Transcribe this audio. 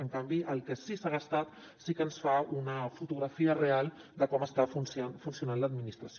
en canvi el que sí que s’ha gastat sí que ens fa una fotografia real de com està funcionant l’administració